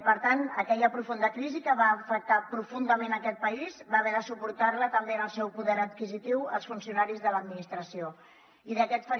per tant aquella profunda crisi que va afectar profundament aquest país van haver de suportarla també en el seu poder adquisitiu els funcionaris de l’administració